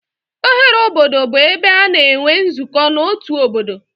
Oghere obodo bụ ebe a na-enwe nzukọ n'otu obodo.